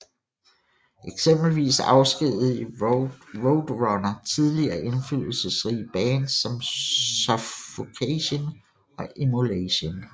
Eksempelvis afskedigede Roadrunner tidligere indflydelsesrige bands som Suffocation og Immolation